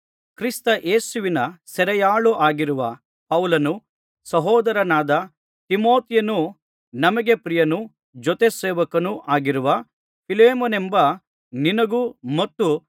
ಕ್ರಿಸ್ತ ಯೇಸುವಿನ ಸೆರೆಯಾಳಾಗಿರುವ ಪೌಲನೂ ಸಹೋದರನಾದ ತಿಮೊಥೆಯನೂ ನಮಗೆ ಪ್ರಿಯನೂ ಜೊತೆ ಸೇವಕನೂ ಆಗಿರುವ ಫಿಲೆಮೋನನೆಂಬ ನಿನಗೂ